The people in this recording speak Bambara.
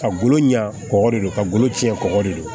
Ka golo ɲa kɔgɔ de don ka golo ci ɲɛ kɔkɔ de don